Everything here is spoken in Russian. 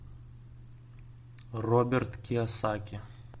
роберт кийосаки